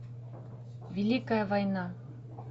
великая война